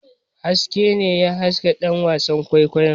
Haske ne ya haska ɗan wasan kwaikwayon.